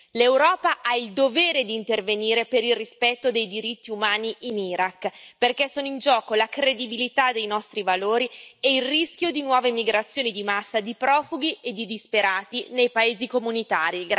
L'Europa ha il dovere di intervenire per il rispetto dei diritti umani in Iraq, perché sono in gioco la credibilità dei nostri valori e il rischio di nuove migrazioni di massa di profughi e di disperati nei paesi comunitari.